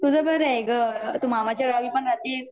तुझं बरंय ग तु मामाच्या गावी पण राहते